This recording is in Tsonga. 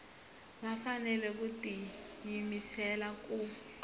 va fanele ku tiyimisela ku